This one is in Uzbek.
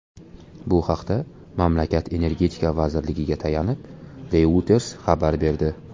Bu haqda mamlakat Energetika vazirligiga tayanib, Reuters xabar berdi .